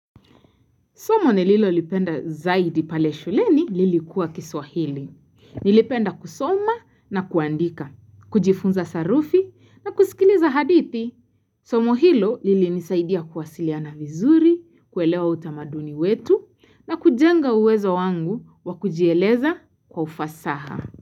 Somo nililolipenda zaidi pale shuleni lilikuwa kiswahili. Nilipenda kusoma na kuandika, kujifunza sarufi na kusikiliza hadithi. Somo hilo lilinisaidia kuwasiliana vizuri, kuelewa utamaduni wetu na kujenga uwezo wangu wa kujieleza kwa ufasaha.